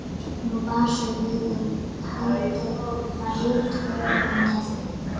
Nú bar svo við að haldið var rithöfundaþing.